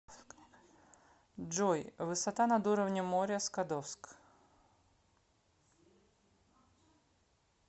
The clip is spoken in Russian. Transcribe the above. джой высота над уровнем моря скадовск